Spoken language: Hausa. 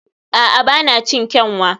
a'a, ba na cin kyanwa